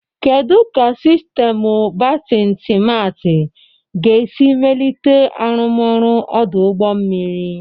Kedu ka sistemu bertin simarti ga-esi melite arụmọrụ ọdụ ụgbọ mmiri?